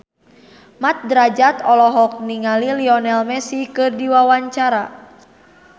Mat Drajat olohok ningali Lionel Messi keur diwawancara